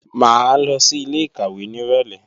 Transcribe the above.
Mà á lọ sí ilé-ìkàwé nírọ̀lé